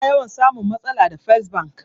Ina yawan samun matsala da fes bank